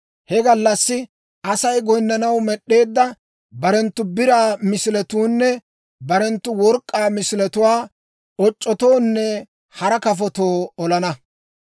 He gallassi Asay goyinnanaw med'd'eedda barenttu biraa misiletuwaanne barenttu work'k'aa misiletuwaa oc'c'otoonne hara kafotoo olana.